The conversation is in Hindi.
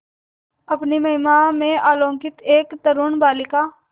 अपनी महिमा में अलौकिक एक तरूण बालिका